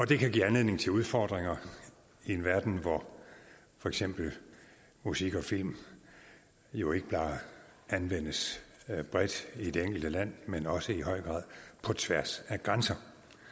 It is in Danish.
det kan give anledning til udfordringer i en verden hvor for eksempel musik og film jo ikke bare anvendes bredt i det enkelte land men også i høj grad på tværs af grænser